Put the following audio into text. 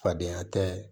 Fadenya tɛ